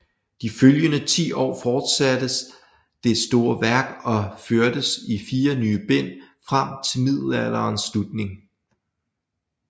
De følgende 10 år fortsattes det store værk og førtes i 4 nye bind frem til middelalderens slutning